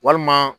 Walima